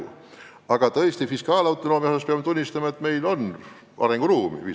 Ja tõesti, peame tunnistama, et fiskaalautonoomia osas meil on, kui viisakalt öelda, arenguruumi.